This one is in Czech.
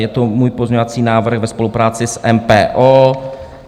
Je to můj pozměňovací návrh ve spolupráci s MPO.